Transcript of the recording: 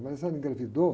A engravidou.